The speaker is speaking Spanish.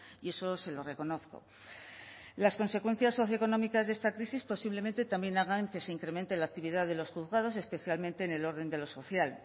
y eso se lo reconozco las consecuencias socioeconómicas de esta crisis posiblemente también hagan que se incremente la actividad de los juzgados especialmente en el orden de lo social